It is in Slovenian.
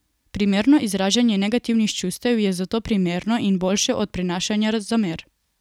Primerno izražanje negativnih čustev je zato primerno in boljše od prenašanja zamer.